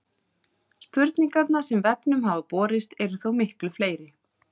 Spurningarnar sem vefnum hafa borist eru þó miklu fleiri.